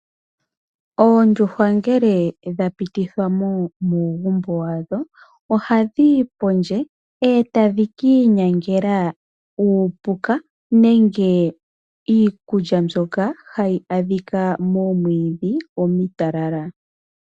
Oondjuhwa ngele dha pitithwamo muugumbo wa dho, oha dhiyi pondje e tadhi kiinyangela uupuka nenge iikulya mbyoka hayi adhika moomwidhi omitalala.